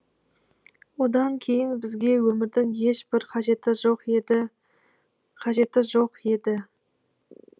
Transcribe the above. одан кейін бізге өмірдің ешбір қажеті жоқ еді қажеті жоқ еді